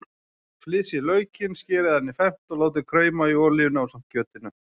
Flysjið laukinn, skerið hann í fernt og látið krauma í olíunni ásamt kjötinu.